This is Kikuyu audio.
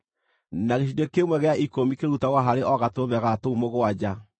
na gĩcunjĩ kĩmwe gĩa ikũmi kĩrutagwo harĩ o gatũrũme ga tũu mũgwanja.